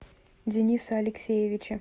дениса алексеевича